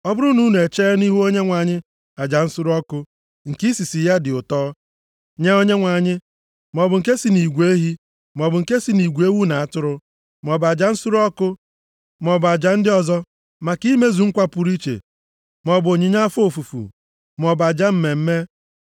ọ bụrụ na unu echee nʼihu Onyenwe anyị aja nsure ọkụ nke isisi ya dị ụtọ nye Onyenwe anyị, maọbụ nke si nʼigwe ehi, maọbụ nke si nʼigwe ewu na atụrụ, maọbụ aja nsure ọkụ, maọbụ aja ndị ọzọ, maka imezu nkwa pụrụ iche maọbụ onyinye afọ ofufu, maọbụ aja mmemme.